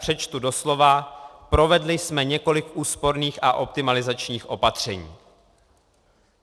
Přečtu doslova: Provedli jsme několik úsporných a optimalizačních opatření.